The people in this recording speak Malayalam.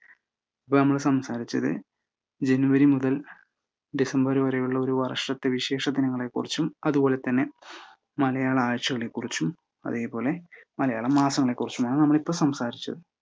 അപ്പൊ നമ്മൾ സംസാരിച്ചത് ജനുവരി മുതൽ ഡിസംബർ വരെയുള്ള ഒരു വർഷത്തെ വിശേഷ ദിനങ്ങളെക്കുറിച്ചും അതുപോലെ തന്നെ മലയാള ആഴ്ച്ചകളെക്കുറിച്ചും അതേപോലെ മലയാള മാസങ്ങളെക്കുറിച്ചുമാണ് നമ്മളിപ്പോൾ സംസാരിച്ചത്.